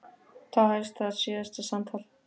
Þá hefst þeirra síðasta samtal.